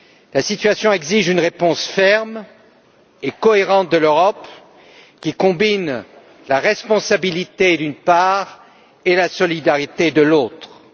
La situation exige une réponse ferme et cohérente de l'Europe qui combine la responsabilité, d'une part, et la solidarité, d'autre part.